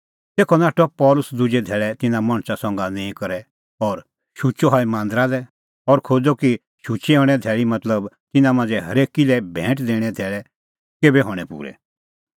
तेखअ नाठअ पल़सी दुजै धैल़ै तिन्नां मणछा संघा निंईं करै और शुचअ हई मांदरा लै और खोज़अ कि शुचै हणें धैल़ी मतलबतिन्नां मांझ़ै हरेकी लै भैंट दैणें धैल़ै केभै हणैं पूरै